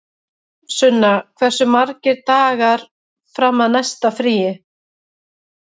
Sunna, hversu margir dagar fram að næsta fríi?